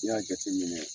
N'i y'a jateminɛ